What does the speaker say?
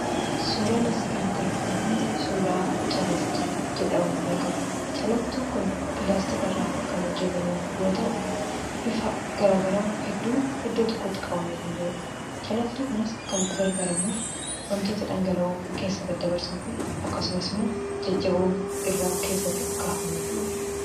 Suuraan asii gaditti argitan kun suuraa calaltuu jedhamuun beekama. Calaltuun kun pilaastika irraa kan hojjetame yoo ta'u, bifa garaa garaa hedduun iddoo tokkotti qabamee kan jiruudha. Calaltuu kanas kan itti gargaaramnuuf wantoota dhangala'oo keessa daddabarsuuf, akkasumas immoo jajjaboon irra keessatti akka hafaniifi jechuudha.